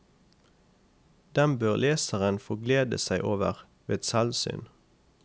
Dem bør leseren få glede seg over ved selvsyn.